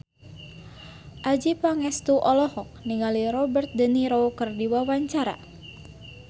Adjie Pangestu olohok ningali Robert de Niro keur diwawancara